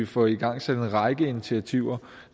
få igangsat en række initiativer